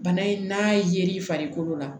Bana in n'a ye l'i farikolo la